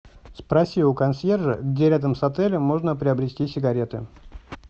спроси у консьержа где рядом с отелем можно приобрести сигареты